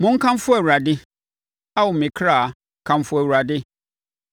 Monkamfo Awurade. Ao me ɔkra, kamfo Awurade!